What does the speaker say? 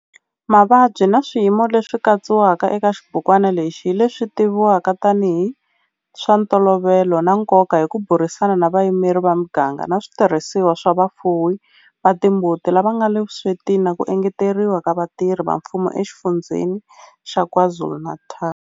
Mavabyi na swiyimo leswi katsiwaka eka xibukwana lexi hi leswi tivivwaka tanihi hi swa ntolovelo na nkoka hi ku burisana na vayimeri va miganga na switirhisiwa swa vafuwi va timbuti lava nga le vuswetini na ku engeteriwa ka vatirhi va mfumo eXifundzheni xa KwaZulu-Natal.